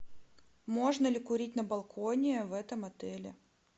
можно ли курить на балконе в этом отеле